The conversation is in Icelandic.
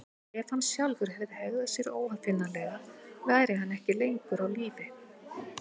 En ef hann sjálfur hefði hegðað sér óaðfinnanlega væri hann ekki lengur á lífi.